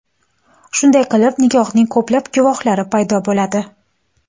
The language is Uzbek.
Shunday qilib nikohning ko‘plab guvohlari paydo bo‘ladi.